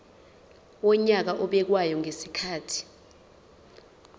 wonyaka obekwayo ngezikhathi